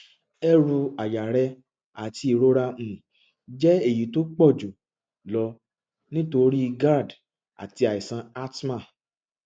eru aya rẹ àti ìrora um jẹ èyí tó pọ jù lọ nítorí gerd àti àìsàn asthma